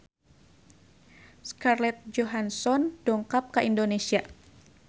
Scarlett Johansson dongkap ka Indonesia